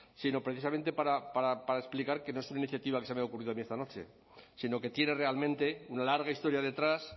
sino precisamente para explicar que no es una iniciativa que se me ha ocurrido a mí esta noche sino que tiene realmente una larga historia detrás